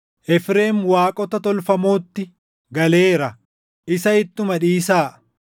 Efreem waaqota tolfamootti galeera; isa ittuma dhiisaa!